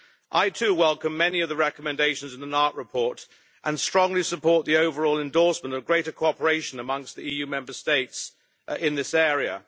I too welcome many of the recommendations in the Nart report and strongly support the overall endorsement of greater cooperation amongst the EU Member States in this area.